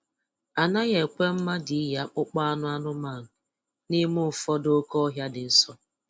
Anaghị ekwe mmadụ iyi akpụkpọ anụ anụmanụ n'ime ụfọdụ oke ọhịa dị nsọ.